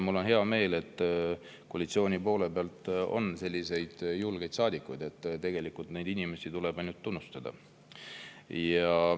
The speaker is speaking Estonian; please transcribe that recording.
Mul on hea meel, et koalitsiooni poole peal on selliseid julgeid saadikuid, tegelikult neid inimesi tuleb ainult tunnustada.